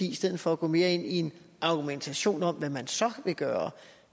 i stedet for at gå mere ind i en argumentation om hvad man så vil gøre